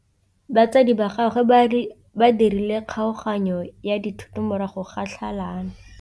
Batsadi ba gagwe ba dirile kgaoganyô ya dithoto morago ga tlhalanô.